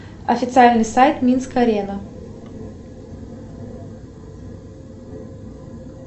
официальный сайт минск арена